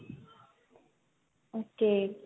okay